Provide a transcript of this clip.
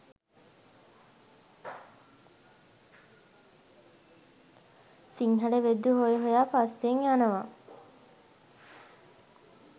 සිංහල වෙද්දු හොය හොයා පස්සෙන් යනවා